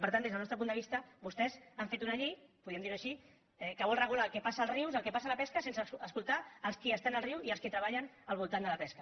per tant des del nostre punt de vista vostès han fet una llei podríem dir ho així que vol regular el que passa als rius el que passa a la pesca sense escoltar els qui estan al riu i els qui treballen al voltant de la pesca